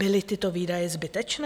Byly tyto výdaje zbytečné?